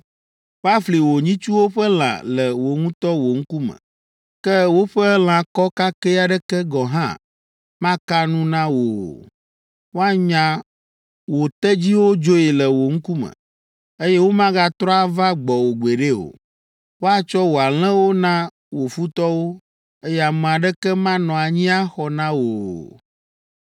Woafli wò nyitsuwo ƒe lã le wò ŋutɔ wò ŋkume, ke woƒe lãkɔ kakɛ aɖeke gɔ̃ hã maka nu na wò o. Woanya wò tedziwo dzoe le wò ŋkume, eye womagatrɔ ava gbɔwò gbeɖe o. Woatsɔ wò alẽwo na wò futɔwo, eye ame aɖeke manɔ anyi axɔ na wò o.